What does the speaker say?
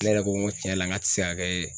Ne yɛrɛ ko ŋo tiɲɛ la ŋa ti se ka kɛ